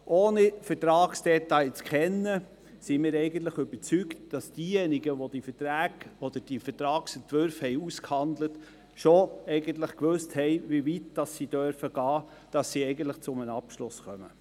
Ohne die Vertragsdetails zu kennen, sind wir eigentlich überzeugt, dass diejenigen, die die Vertragsentwürfe ausgehandelt haben, schon wussten, wie weit sie gehen dürfen, damit sie zu einem Abschluss kommen.